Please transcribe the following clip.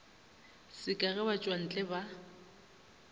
se ka ge batšwantle ba